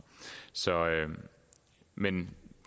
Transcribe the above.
men